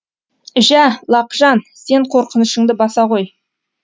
жә лақжан сен қорқынышыңды баса ғой